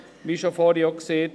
Wie schon vorhin gesagt: